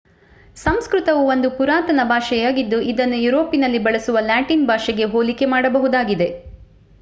ಸಂಸ್ಕೃತವು ಒಂದು ಪುರಾತನ ಭಾಷೆಯಾಗಿದ್ದು ಇದನ್ನು ಯುರೋಪಿನಲ್ಲಿ ಬಳಸುವ ಲ್ಯಾಟಿನ್ ಭಾಷೆಗೆ ಹೋಲಿಕೆ ಮಾಡಬಹುದಾಗಿದೆ